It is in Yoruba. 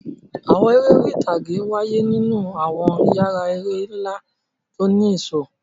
Àwọn eré orí ìtàgé wáyé nínú àwọn yàrá eré ńlá tó ní ẹ̀ṣọ́.